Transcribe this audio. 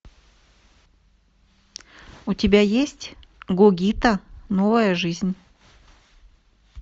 у тебя есть гогита новая жизнь